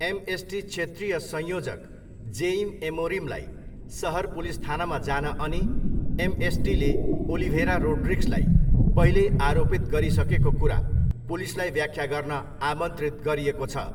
MST क्षेत्रीय संयोजक Jaime एमोरिमलाई सहर पुलिस थानामा जान अनि एमएसटीले ओलिभेरा रोड्रिग्सलाई पहिल्यै आरोपित गरिसकेको कुरा पुलिसलाई व्याख्या गर्न आमन्त्रित गरिएको छ।